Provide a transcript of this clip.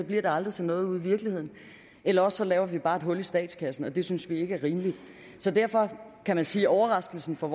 bliver det aldrig til noget ude i virkeligheden eller også laver vi bare et hul i statskassen og det synes vi ikke er rimeligt derfor kan man sige at overraskelsen for